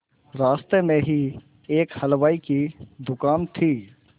रास्ते में ही एक हलवाई की दुकान थी